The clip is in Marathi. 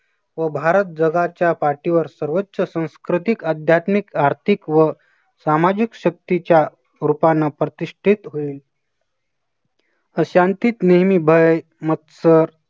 व भारत जगाच्या पाठीवर सर्वोच्च सांस्कृतिक, अध्यात्मिक, आर्थिक व सामाजिक शक्तीच्या रूपाने प्रतिष्ठित होईल. अशांतीत नेहमी बळ, मत्सर